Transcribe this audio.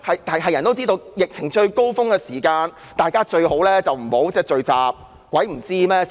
所有人也知道，在疫情最高峰時，大家最好不要聚集，誰不知道呢？